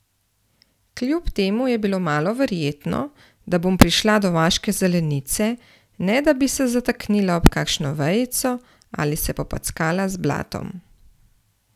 Kljub temu je bilo malo verjetno, da bom prišla do vaške zelenice, ne da bi se zataknila ob kakšno vejico ali se popackala z blatom.